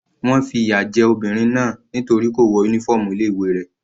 Wọ́n fi ìyà jẹ obìnrin náà nítorí kò wọ uniform ilé ìwé rẹ̀.